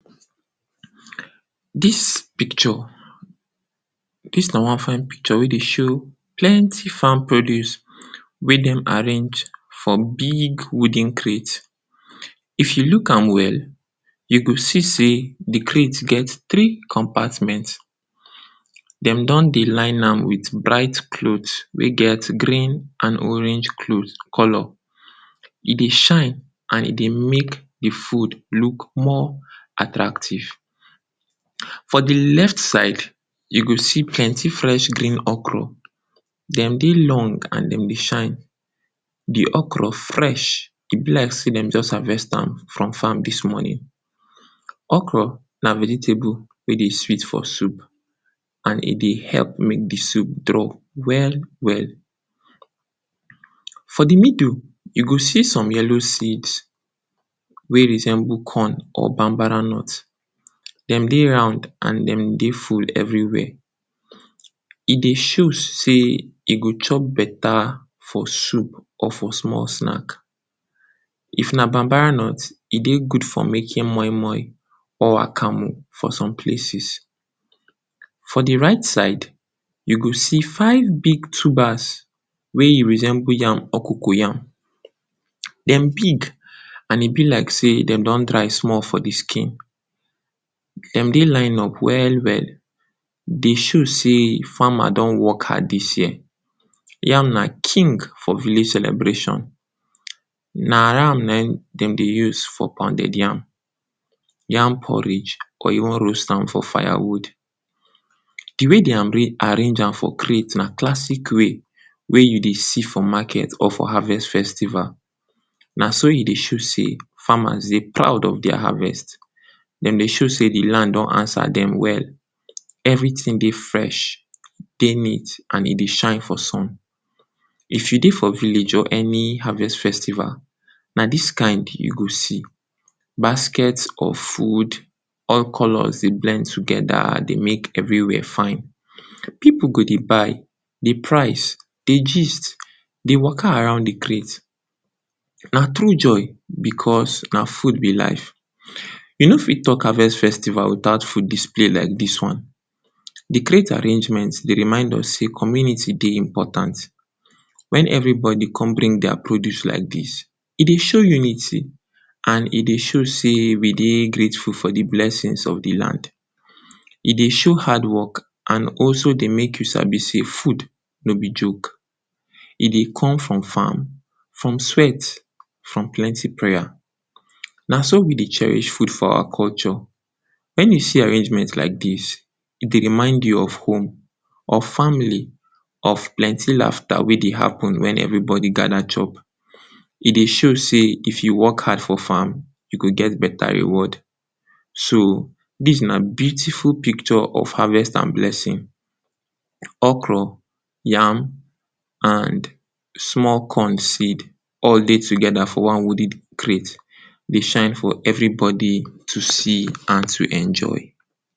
Dis picture; dis na one fine picture wey dey show plenty farm produce wey dey arrange for big wooden crate. if you look am well you go see sey de crate get three compartment den dey come dey line am with bright clothe. we get green and orange colour; e dey shine and e dey make de food look more attractive for de left side. you go see plenty fresh green okra dem dey long and dem dey shine de okra fresh e be like sey dem just harvest am from farm dis morning. okra na vegetable wey dey sweet for soup and e dey help make de soup draw well well or de middle you go see some yellow seeds wey resemble corn or Bambara nut. dem dey round and dem dey full everywhere if dey show sey e go chop beta for food or for beta snack if na Bambara but e dey good for making moi moi and akara. For some places for de right side you go see five big tubers wey resemble yam or cocoyam. dem big and e be like sey dem don dry small. for de skin, dem dey line up well well. e dey show sey farmer don work hard. dis term yam na king for village celebration na yam na him dem dey use for pounded yam, yam porridge or you wan roast am for fire wood. de way dey arranged am for na classic way wey you dey see for market or for harvest festival na so e dey show sey farmers dey proud of dia harvest dem dey show sey de land don answer den well every ting dey fresh e dey neat and e dey shine. for some, if you dey for village or any harvest festival, na dis kind you go see basket of food all colours dey blend togeda. dey make everywhere fine pipu go dey buy, dey price dey gist dey waka around. de crate na joy because na food be life. you no fit talk harvest festival without food display like dis one. de crate arrangement dey remind us sey community eye important wen everybody come bring dia produce like that e dey show unity and e dey show sey we dey grateful for de blessing of de land. e dey show hard work and also dey make you sabi sey food no be joke e dey come from farm from sweat from plenty prayers. na so we dey cherish food for our culture. wen you see arrangements like dis, e go remind you of home. if family, if plenty laughter wey dey happen wen everybody gada chop, e dey show sey, if you work hard for farm, you go get beta reward. so dis na beautiful picture or harvest and blessing okra yam and small corn seed all dey togeda for one wooden crate dey shine for everybody to see and to enjoy.